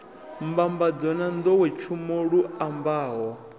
mbambadzo na nḓowetshumo lu ambaho